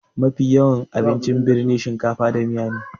Mafi yawan abincin birni shakafa da miya ne